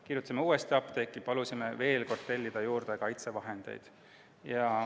Kirjutasime uuesti apteeki ja palusime veel kord tellida juurde kaitsevahendeid.